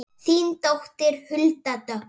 Þín dóttir Hulda Dögg.